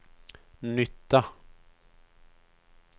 nytta